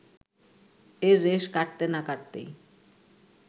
এর রেশ কাটতে না কাটতেই